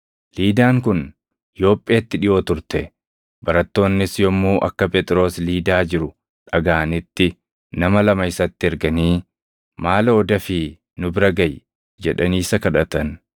Liidaan kun Yoopheetti dhiʼoo turte; barattoonnis yommuu akka Phexros Liidaa jiru dhagaʼanitti nama lama isatti erganii, “Maaloo dafii nu bira gaʼi!” jedhanii isa kadhatan.